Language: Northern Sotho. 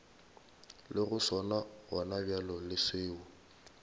lego sona gonabjale le seo